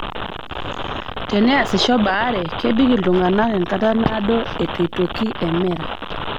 Teneasisho baare, kebik iltung'ana enkata naado eitu aitoki emera.